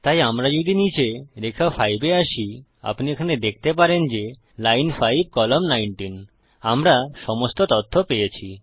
তাই আমরা যদি নীচে রেখা 5 এ আসি আপনি এখানে দেখতে পারেন যে লাইন 5 কলাম্ন 19 এলএন5 সিওএল19 আমরা সমস্ত তথ্য পেয়েছি